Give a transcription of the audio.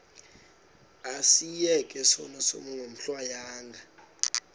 asiyeke sono smgohlwaywanga